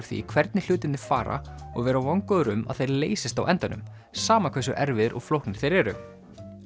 því hvernig hlutirnir fara og vera vongóður um að þeir leysist á endanum sama hversu erfiðir og flóknir þeir eru